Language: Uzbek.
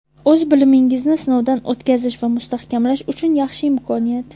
O‘z bilimingizni sinovdan o‘tkazish va mustahkamlash uchun yaxshi imkoniyat.